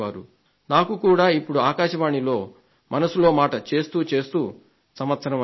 నాకు కూడా ఇప్పుడు ఆకాశవాణిలో మనసులో మాట కార్యక్రమాన్ని నిర్వహిస్తూ సంవత్సరం అయింది